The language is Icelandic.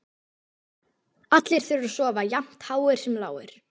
Allir þurfa að sofa, jafnt háir sem lágir.